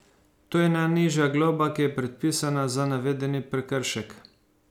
To je najnižja globa, ki je predpisana za navedeni prekršek.